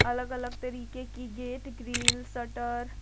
अलग अलग तरीके की गेट ग्रील शटर --